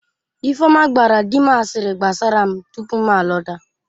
Ifeoma gbaara di m asịrị gbasara m tupu m alọta